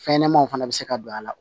Fɛn ɲɛnɛmanw fana be se ka don a la